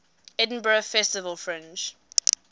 edinburgh festival fringe